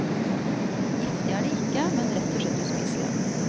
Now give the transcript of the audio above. Giftige er de ikke, men rett og slett uspiselige.